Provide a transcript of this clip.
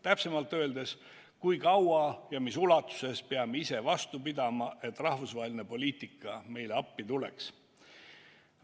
Täpsemalt öeldes, kui kaua ja mis ulatuses peame ise vastu pidama, et rahvusvaheline poliitika meile appi tuleks?